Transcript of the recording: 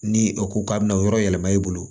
Ni o ko k'a bɛna o yɔrɔ yɛlɛma i bolo